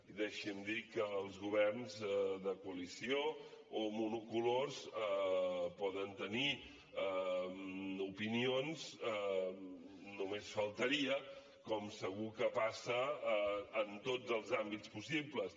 i deixi’m dir que els governs de coalició o monocolors poden tenir opinions només faltaria com segur que passa en tots els àmbits possibles